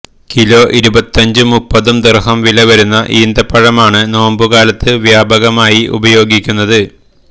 kilo ഇരുപത്തഞ്ചും മുപ്പതും ദിര്ഹം വിലവരുന്ന ഈന്തപ്പഴമാണ് നോമ്പുകാലത്ത് വ്യാപകമായി ഉപയോഗിക്കുന്നത്